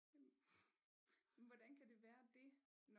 Jamen hvordan kan det være dét